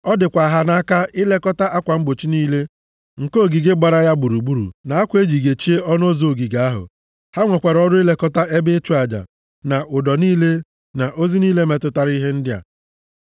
Ọ dịkwa ha nʼaka ilekọta akwa mgbochi niile nke ogige gbara ya gburugburu, na akwa e ji gechie ọnụ ụzọ ogige ahụ. Ha nwekwara ọrụ ilekọta ebe ịchụ aja, na ụdọ niile, na ozi niile metụtara ihe ndị a.